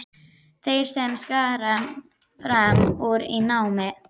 Þeir sem skara fram úr í námi.